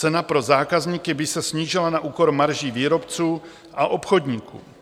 Cena pro zákazníky by se snížila na úkor marží výrobců a obchodníků.